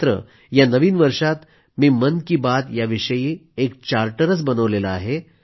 मात्र या नवीन वर्षात मी मन की बात या विषयी एक चार्टरच बनवला आहे